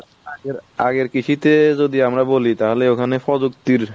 আগের কৃষিতে যদি আমরা বলি তাহলে ওখানে প্রযুক্তির